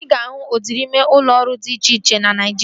Ị ga-ahụ udịri ime ụlọ ọrụ dị iche iche na Naijiria